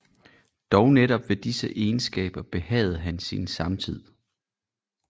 Dog netop ved disse egenskaber behagede han sin samtid